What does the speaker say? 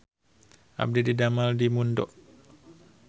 Abdi didamel di Mundo